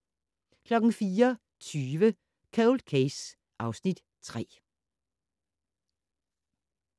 04:20: Cold Case (Afs. 3)